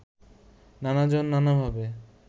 নানাজন নানাভাবে